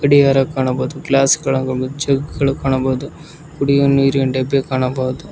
ಗಡಿಯಾರ ಕಾಣಬಹುದು ಗ್ಲಾಸ್ ಗಳು ಹಾಗೂ ಮುಚ್ಚುಂಕಿಗಳು ಕಾಣಬಹುದು ಕುಡಿಯುವ ನೀರಿನ ಡಬ್ಬಿ ಕಾಣಬಹುದು.